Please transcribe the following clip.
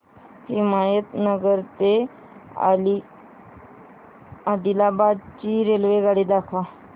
हिमायतनगर ते आदिलाबाद ची रेल्वेगाडी दाखवा